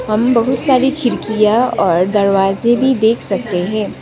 हम बहुत सारी खिड़कियां और दरवाजे भी देख सकते है।